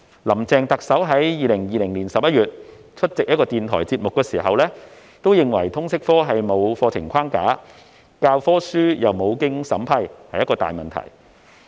林鄭特首在2020年11月出席一個電台節目時指出，通識科沒有課程框架，教科書亦無須經過審批，因此是一個大問題。